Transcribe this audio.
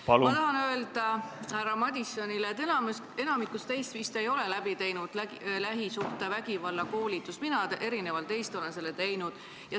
Ma tahan öelda härra Madisonile, et enamik teist vist ei ole läbi teinud lähisuhtevägivalla koolitust, mina olen erinevalt teist selle läbi teinud.